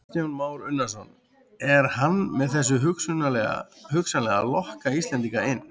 Kristján Már Unnarsson: Er hann með þessu hugsanlega að lokka Íslendinga inn?